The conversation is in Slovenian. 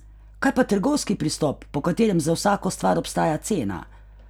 Kaj pa trgovski pristop, po katerem za vsako stvar obstaja cena?